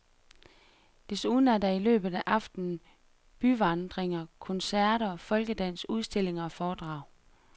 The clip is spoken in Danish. Desuden er der i løbet af aftenen byvandringer, koncerter, folkedans, udstillinger og foredrag.